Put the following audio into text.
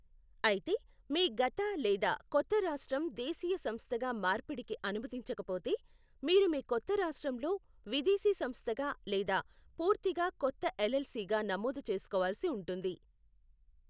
అయితే, మీ గత లేదా కొత్త రాష్ట్రం దేశీయ సంస్థగా మార్పిడికి అనుమతించకపోతే, మీరు మీ కొత్త రాష్ట్రంలో విదేశీ సంస్థగా లేదా పూర్తిగా కొత్త ఎల్ఎల్సీ గా నమోదు చేసుకోవాల్సి ఉంటుంది.